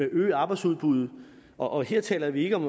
at øge arbejdsudbuddet og her taler vi ikke om